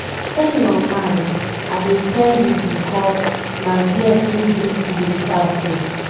Train your mind, I dey tell you bicos na there true beauty dey start oo